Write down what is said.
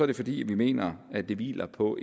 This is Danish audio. det fordi vi mener at det hviler på